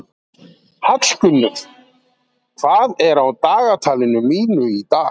Hallgunnur, hvað er á dagatalinu mínu í dag?